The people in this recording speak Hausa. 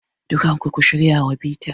Dukkan ku, ku shirya wa bita.